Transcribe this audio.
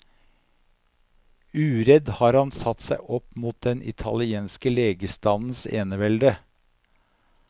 Uredd har han satt seg opp mot den italienske legestandens enevelde.